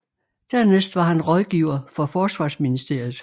Dernæst var han rådgiver for forsvarsministeriet